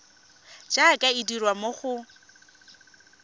jaaka e dirwa mo go